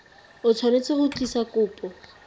o tshwanetse go tlisa kopo